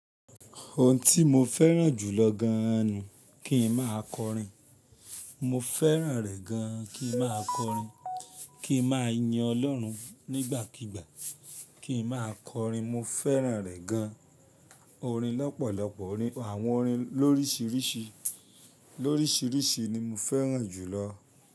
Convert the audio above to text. Ohun tí mo fẹ́ràn jù lọ gan ni kí n máa kọrin. Mo fẹ́ràn rẹ gan an, kí n máa kọrin, kí n máa yin Ọlọ́run nígbàkígbà, kí n máa kọrin. Mo fẹ́ràn rẹ̀ gan. Orin lọ́pọ̀lọpọ̀, àwọn orin lórísìíríṣìí, lórísìíríṣìí ni mo fẹ́ràn jù lọ.